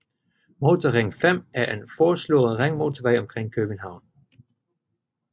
Motorring 5 er en foreslået ringmotorvej omkring København